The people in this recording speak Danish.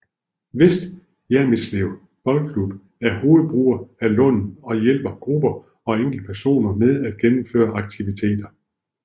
Vester Hjermitslev Boldklub er hovedbruger af Lunden og hjælper grupper og enkeltpersoner med at gennemføre aktiviteter